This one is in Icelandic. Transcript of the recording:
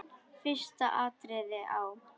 Fyrsta atriðið á.